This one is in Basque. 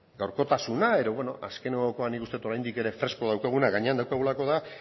gaurkotasuna edo bueno azkenekoa nik uste dut oraindik ere fresko daukaguna gainean daukagulako da